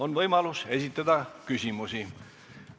On võimalus esitada küsimusi.